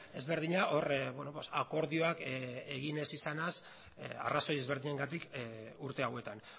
ezberdina akordioak egin ez izanaz arrazoi ezberdinengatik urte hauetan